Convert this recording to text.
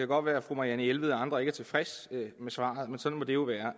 godt være at fru marianne jelved og andre ikke er tilfredse med svaret men sådan må det jo være